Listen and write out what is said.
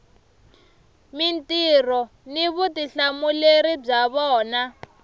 mintirho ni vutihlamuleri bya vona